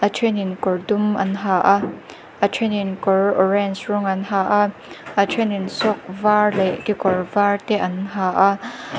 a thenin kawr dum an ha a a thenin kawr orange rawng an ha a a thenin sock var leh kekawr var te an ha a.